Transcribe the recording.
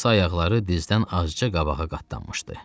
Qısa ayaqları dizdən azca qabağa qatlanmışdı.